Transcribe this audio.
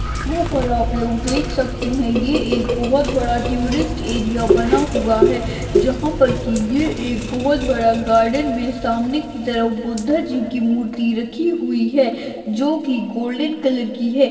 वहाँ पर आप लोग देख सकते हैं यह एक बहुत बड़ा टूरिस्ट एरिया बना हुआ है जहां पर की यह एक बहुत बड़ा गार्डन में सामने की तरफ बुद्ध जी की मूर्ति रखी हुई है जो की गोल्डन कलर की है।